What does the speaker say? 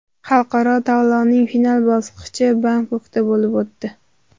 Xalqaro tanlovning final bosqichi Bangkokda bo‘lib o‘tdi.